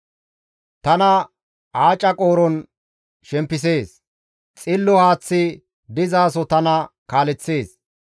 Tana aaca qooron shempisees; xillo haaththi dizaso tana kaaleththees.